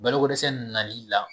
Balokodɛsɛ nali la